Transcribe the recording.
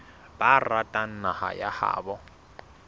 ba ratang naha ya habo